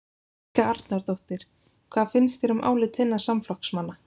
Helga Arnardóttir: Hvað finnst þér um álit þinna samflokksmanna?